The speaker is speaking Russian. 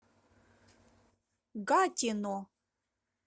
гатино